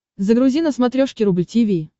загрузи на смотрешке рубль ти ви